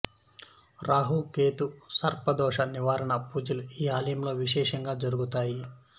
రాహు కేతు సర్ప దోష నివారణ పూజలు ఈ ఆలయంలో విశేషంగా జరుగుతాయి